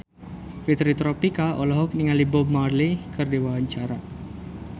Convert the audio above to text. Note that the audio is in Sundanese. Fitri Tropika olohok ningali Bob Marley keur diwawancara